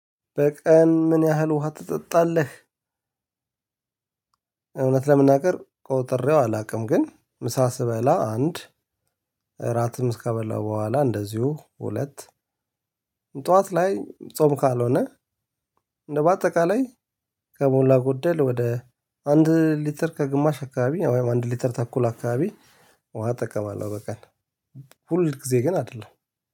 በቀን ምን ያህል ውሃ ትጠጣለህ? እውነት ለመናገር ቆጥሬው አላውቅም። ግን ምሳ ስበላ አንድ እራትም እስከበላው በኋላ እንደዚሁ ሁለት። ጠዋት ላይ ጾም ካልሆነ። እንደው በአጠቃላይ ከሞላ ጎደል ወደ አንድ ሊትር ከግማሽ አካባቢ ወይም አንድ ሊትር ተኩል አካባቢ ውሃ እጠቀማለሁ። በቀን ሁል ጊዜ ግን አይደለም።